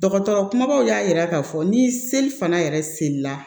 Dɔgɔtɔrɔ kumabaw y'a yira k'a fɔ ni seli fana yɛrɛ selila